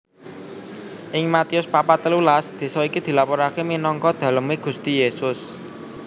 Ing Matius papat telulas désa iki dilaporaké minangka dalemé Gusti Yésus